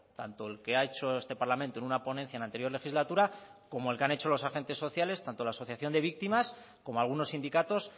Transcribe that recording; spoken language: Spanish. tanto el que ha hecho este parlamento en una ponencia en la anterior legislatura como el que han hecho los agentes sociales tanto la asociación de víctimas como algunos sindicatos